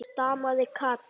stamaði Kata.